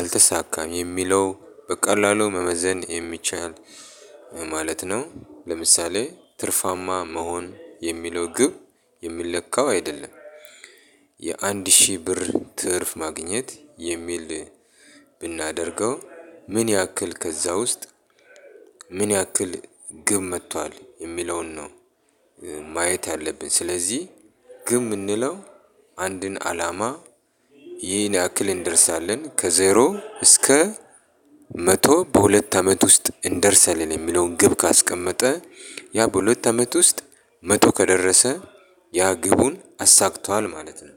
አልተሳካም የሚለው በቀላሉ መመዘን የሚቻል ማለት ነው። ለምሳሌ ትርፋማ መሆን የሚለው ግብ የሚለካው አይደለም። የአንድ ሺህ ብር ትርፍ ማግኘት የሚል ብናደርገው ምን ያክል ከዛ ውስጥ ምን ያክል ግብ መቷል የሚለውን ነው። ማየት ያለብን ስለዚህ። ግብ ምንለው አንድን አላማ ይህን ያክል እንደርሳለን። ከዜሮ እስከ መቶ በሁለት አመት ውስጥ እንደርሳለን የሚለውን ግብ ካስቀመጠ ያ በሁለት አመት ውስጥ መቶ ከደረሰ ያ ግቡን አሳክቷል ማለት ነው።